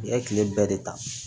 U ye tile bɛɛ de ta